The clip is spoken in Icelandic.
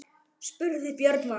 Spurðuð þið Björn Val?